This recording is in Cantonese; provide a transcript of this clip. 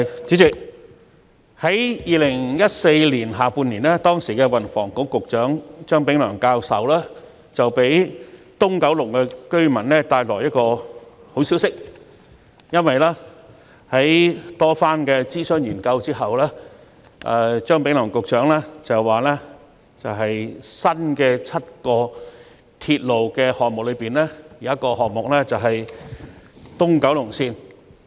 主席，在2014年下半年，時任運輸及房屋局局長張炳良教授為九龍東居民帶來了一個好消息，因為在經過多番諮詢和研究後，張炳良教授提出在7個新鐵路項目中，其中一個項目將會是東九龍綫。